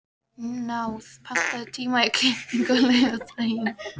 Náð, pantaðu tíma í klippingu á laugardaginn.